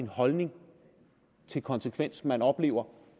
holdning til konsekvens man oplever